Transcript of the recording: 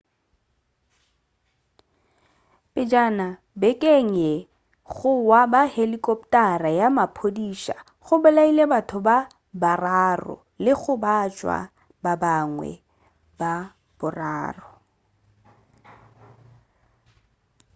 pejana bekeng ye go wa ga helikoptara ya maphodisa go bolaile batho ba bararo le go gobatša ba bangwe ba bararo